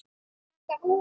Krakkar úr